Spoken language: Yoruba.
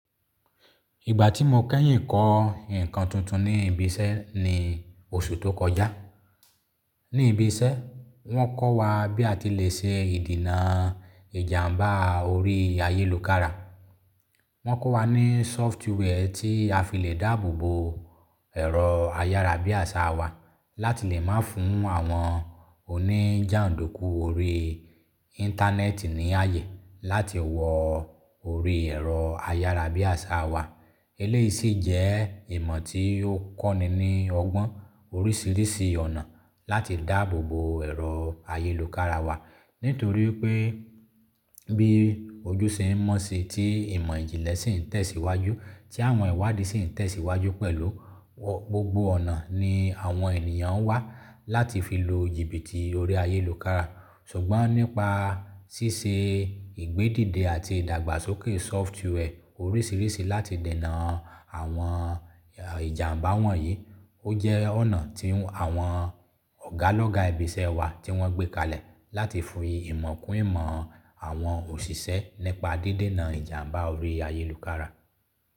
Ìgbà tí mo kẹ́yìn kọ́ nǹkan tuntun ní ibi iṣẹ́ ní oṣù tó kọjá. Ní ibi iṣẹ́ wọ́n kọ́ wa bí a ti lè ṣe ìdènà ìjàǹbá orí ayélukára. Wọ́n kọ́ wa ní sófútúwẹ̀ tí a fi le dáàbò bo ẹ̀rọ ayárabíàṣá wa láti lè má fún àwọn oníjàǹdùkú orí Íńtánẹ́ẹ̀tì ní ààyè láti wọ orí ẹ̀rọ ayárabíàṣá wa. Eléyìí sì jẹ́ ìmọ̀ tí ó kọ́ni ní ọgbọ́n oríṣìíríṣìí ọ̀nà láti dáàbò bo ẹ̀rọ ayélukára wa. Nítorí pé bí ojúṣe ń mọ́ sí i tí ìmọ̀ ìjìnlẹ̀ sì ń tẹ̀síwájú, tí àwọn ìwádìí sì ń tẹ̀síwájú pẹ̀lú, gbogbo ọ̀nà ni àwọn ènìyàn ń wá láti fi lo jìbìtì orí ayélukára. Ṣùgbọ́n nípa ṣíṣe ìgbédìde àti ìdàgbàsókè sófútúwẹ̀ oríṣìíríṣìí láti dènà àwọn ìjàǹbá wọ̀nyí, ó jẹ́ ọ̀nà tí àwọn ọ̀gá lọ́gá ibi iṣẹ́ wa tí wọ́n gbé kalẹ̀ láti fi ìmọ̀ kún ìmọ̀ àwọn òṣìṣẹ́ nípa dédènà ìjàǹbá orí ayélukára.